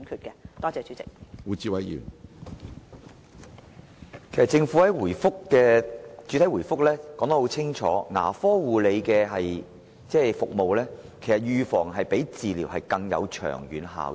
政府在主體答覆中清楚指出，預防性的牙科護理服務較治療更有長遠效益。